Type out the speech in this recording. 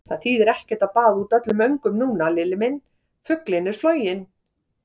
Það þýðir ekkert að baða út öllum öngum núna, Lilli minn, fuglinn er floginn!